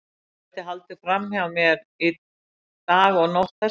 Hún gæti haldið fram hjá mér dag og nótt þess vegna.